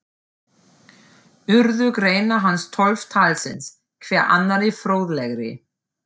Urðu greinar hans tólf talsins, hver annarri fróðlegri.